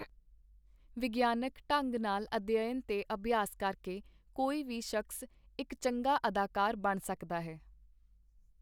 ਵਿਗਿਆਨਕ ਢੰਗ ਨਾਲ ਅਧਿਅਨ ਤੇ ਅਭਿਆਸ ਕਰਕੇ ਕੋਈ ਵੀ ਸ਼ਖਸ ਇਕ ਚੰਗਾ ਅਦਾਕਾਰ ਬਣ ਸਕਦਾ ਹੈ.